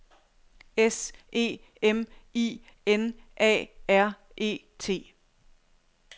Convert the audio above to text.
S E M I N A R E T